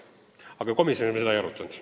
Aga komisjonis me seda ei arutanud.